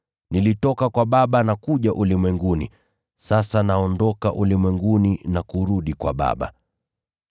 Nilitoka kwa Baba na kuja ulimwenguni, sasa naondoka ulimwenguni na kurudi kwa Baba.”